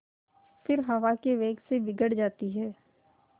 फिर हवा के वेग से बिगड़ जाती हैं